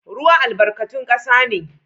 Ruwa albarkatun kasa ne